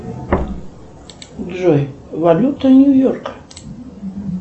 джой валюта нью йорка